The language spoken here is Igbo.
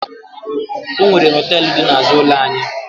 Ọ nwere họtelụ dị n'azụ ụlọ anyị.